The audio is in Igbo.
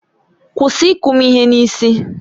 Kwụsị ịkụ m ihe n'isi!